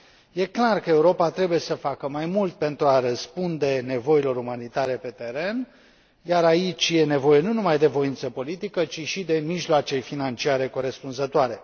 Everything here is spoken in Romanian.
Este clar că Europa trebuie să facă mai mult pentru a răspunde nevoilor umanitare pe teren, iar aici e nevoie nu numai de voință politică, ci și de mijloace financiare corespunzătoare.